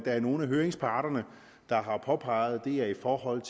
er nogle af høringsparterne der har påpeget og det er i forhold